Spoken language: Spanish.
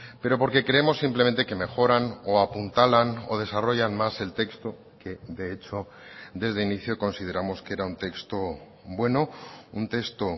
pero porque creemos simplemente que mejoran o apuntalan o desarrollan más el texto que de hecho desde inicio consideramos que era un texto bueno un texto